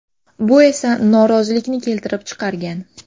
Bu esa norozilikni keltirib chiqargan.